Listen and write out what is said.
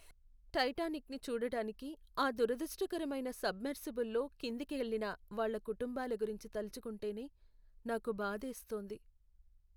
టైటానిక్ని చూడడానికి ఆ దురదృష్టకరమైన సబ్మెర్సిబుల్లో కిందికెళ్ళిన వాళ్ళ కుటుంబాల గురించి తలచుకుంటేనే నాకు బాధేస్తోంది.